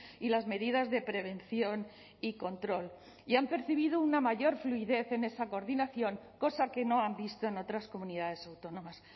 y las medidas de prevención y control y han percibido una mayor fluidez en esa coordinación cosa que no han visto en otras comunidades autónomas